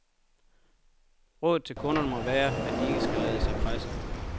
Rådet til kunderne må være, at de ikke skal lade sig presse.